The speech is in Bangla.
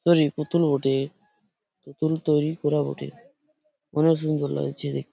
নতুন তৈরী করা বটে অনেক সুন্দর লাগছে দেখ--